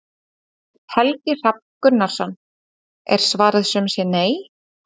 Helgi Hrafn Gunnarsson: Er svarið sum sé nei?